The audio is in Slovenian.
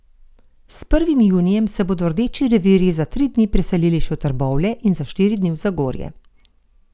S prvim junijem se bodo Rdeči revirji za tri dni preselili še v Trbovlje in za štiri dni v Zagorje.